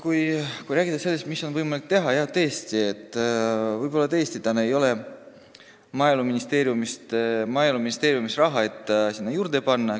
Kui rääkida sellest, mida on võimalik teha, siis võib-olla tõesti ei ole Maaeluministeeriumil praegu raha, mida sinna juurde panna.